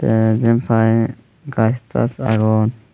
te jiotpai gach tach agon.